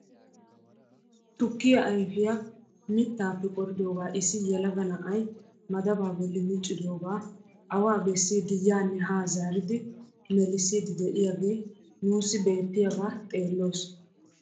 Tukkiyaa ayfiyaa mittaappe qoridoogaa issi yelaga na'ay madabaa bolli miccidogaa awaa bessiidi yaanne haa zaaridi melliisidi de'iyaagee nuusi beettiyaagaa xeelloos!